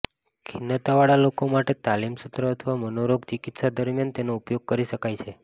ખિન્નતાવાળા લોકો માટે તાલીમ સત્ર અથવા મનોરોગ ચિકિત્સા દરમિયાન તેનો ઉપયોગ કરી શકાય છે